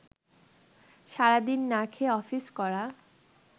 সারাদিন না খেয়ে অফিস করা